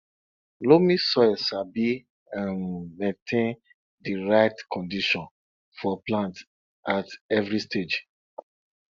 loamy soil sabi um maintain di right condition for plants at every stage